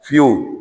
Fiyewu